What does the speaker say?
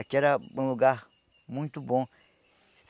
Aqui era um lugar muito bom.